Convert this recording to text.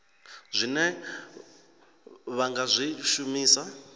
zwine vha nga zwi shumisa